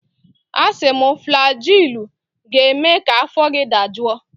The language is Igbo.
Asị m, flajilụ ga-eme ka afọ gị dajụọ!